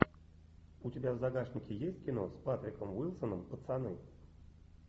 у тебя в загашнике есть кино с патриком уилсоном пацаны